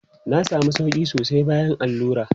Na sami sauƙi sosai bayan allura.